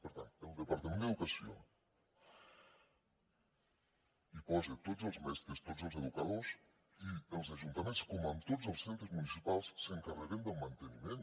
per tant el departament d’educació hi posa tots els mestres tots els educadors i els ajuntaments com en tots els centres municipals s’encarreguen del manteniment